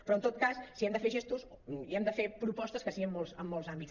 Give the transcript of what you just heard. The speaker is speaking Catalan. però en tot cas si hem de fer gestos i hem de fer propostes que siguin en molts àmbits